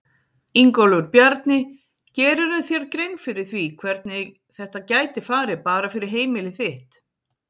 Ingólfur Bjarni: Gerirðu þér grein fyrir því hvernig þetta gæti farið bara fyrir heimili þitt?